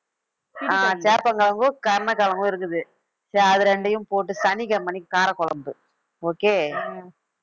ஆஹ் சேப்பங்கிழங்கும் கருணைக்கிழங்கும் இருக்குது சரி அது ரெண்டையும் போட்டு சனிக்கிழமை அன்னைக்கு காரக்குழம்பு okay